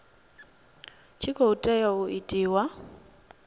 tshi khou tea u itiwa